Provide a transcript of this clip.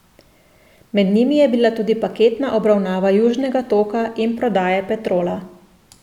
Med njimi je bila tudi paketna obravnava Južnega toka in prodaje Petrola.